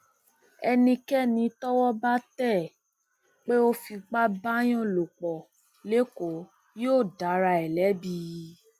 ẹnikẹni tọwọ bá tẹ pé ó fipá báàyàn lò pọ lẹkọọ yóò dára ẹ lẹbi